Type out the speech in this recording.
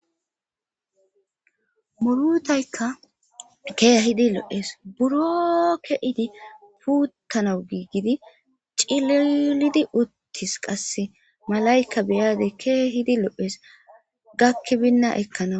murutaykka keehidi lo7ees buro ke7idi puuttanau giiggidi cilelidi uttis qasse malayka beyade keehidi lo7es gakki binna ekkana